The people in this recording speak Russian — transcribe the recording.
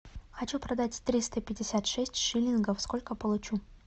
хочу продать триста пятьдесят шесть шиллингов сколько получу